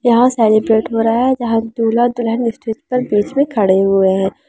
यहाँ सेलिब्रेट हो रहा है जहॉ दूल्हा-दुल्हन स्टेज पर बीच में खड़े हुए है।